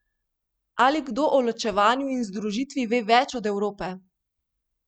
Ali kdo o ločevanju in združitvi ve več od Evrope?